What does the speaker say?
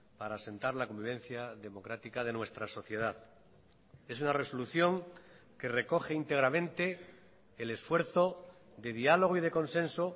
para asentar la convivencia democrática de nuestra sociedad es una resolución que recoge íntegramente el esfuerzo de diálogo y de consenso